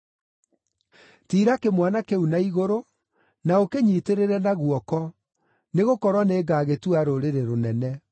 Tiira kĩmwana kĩu na igũrũ, na ũkĩnyiitĩrĩre na guoko, nĩgũkorwo nĩngagĩtua rũrĩrĩ rũnene.”